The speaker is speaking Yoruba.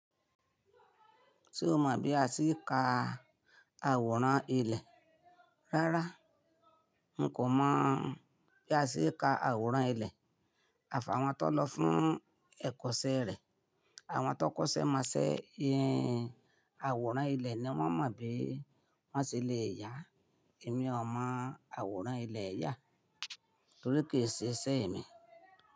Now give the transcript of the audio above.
Ṣé o mọ̀ bí a ti í ka àwòrán ilẹ̀? Rárá, n kò mọ̀ bí a ṣe ka àwòrán ilẹ̀. À fàwọn tó lọ fún ẹ̀kọ́ṣẹ́ rẹ̀, àwọn tó kọ́ṣẹ́ mọṣẹ́, àwòrán ilẹ̀ ni wọ́n mọ̀ bí wón ṣe le è yà á Èmi ò mọ̀ àwòrán ilẹ̀ yà torí kì í ṣe iṣẹ́ èmi.